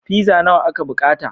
Pizza nawa aka bukata.